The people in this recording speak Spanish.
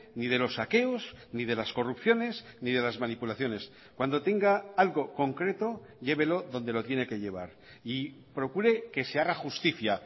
ni de los saqueos ni de las corrupciones ni de las manipulaciones cuando tenga algo concreto llévelo donde lo tiene que llevar y procure que se haga justicia